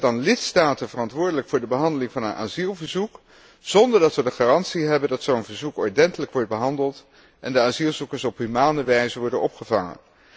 We stellen dan lidstaten verantwoordelijk voor de behandeling van een asielverzoek zonder dat we de garantie hebben dat zo'n verzoek ordentelijk wordt behandeld en de asielzoekers op humane wijze worden opgevangen.